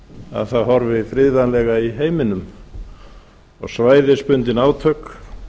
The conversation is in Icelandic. að það horfi friðvænlega í heiminum og svæðisbundin átök